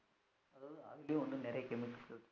அதுலயும் இன்னும் நிரய chemicals இருக்கு